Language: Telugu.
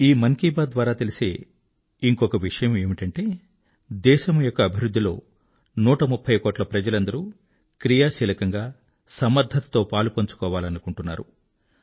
ఈ మన్ కీ బాత్ ద్వారా తెలిసే ఇంకొక విషయమేమిటంటే దేశం యొక్క అభివృద్ధిలో 130 కోట్ల ప్రజలందరూ సక్రియంగా సమర్థతతో పాలు పంచుకోవాలనుకుంటున్నారు